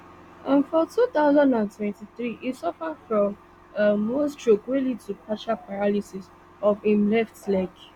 um for two thousand and twenty-three e suffer from um one stroke wey lead to partial paralysis of im left leg